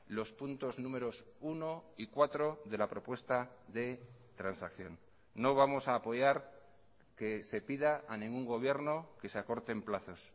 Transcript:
los puntos números uno y cuatro de la propuesta de transacción no vamos a apoyar que se pida a ningún gobierno que se acorten plazos